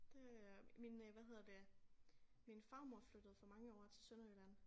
Det øh min øh hvad hedder det min farmor flyttede for mange år til Sønderjylland